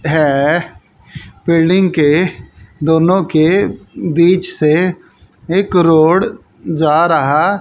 हैं। बिल्डिंग के दोनों के बीच से एक रोड जा रहा--